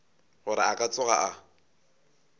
gore a ka tsoga a